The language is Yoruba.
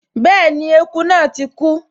Bẹ́ẹ̀ni, eku náà ti kú